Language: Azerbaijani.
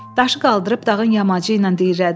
Daşı qaldırıb dağın yamacı ilə diyirlədilər.